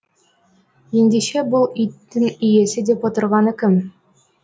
ендеше бұл иттің иесі деп отырғаны кім